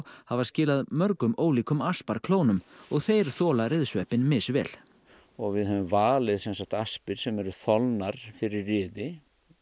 hafa skilað mörgum ólíkum og þeir þola ryðsveppinn misvel og við höfum valið aspir sem eru þolnar fyrir ryði